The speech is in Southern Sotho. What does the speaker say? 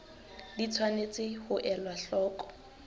di tshwanetse ho elwa hloko